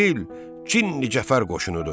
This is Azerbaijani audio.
elə bil Cinni Cəfər qoşunudur.